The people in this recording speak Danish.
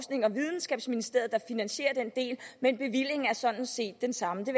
videnskabsministeriet der finansierer den del men bevillingen er sådan set den samme det